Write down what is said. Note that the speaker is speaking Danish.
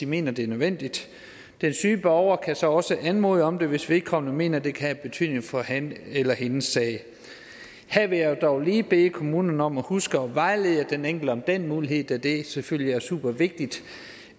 mener det er nødvendigt den syge borger kan så også anmode om det hvis vedkommende mener at det kan have betydning for hans eller hendes sag her vil jeg dog lige bede kommunen om at huske at vejlede den enkelte om den mulighed da det selvfølgelig er supervigtigt